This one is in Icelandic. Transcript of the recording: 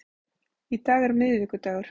Í dag er miðvikudagur.